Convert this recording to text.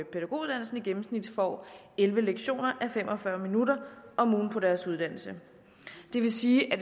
gennemsnit får elleve lektioner a fem og fyrre minutter om ugen på deres uddannelse det vil sige at